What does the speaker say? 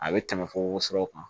A bɛ tɛmɛ fo worosɔrɔ kan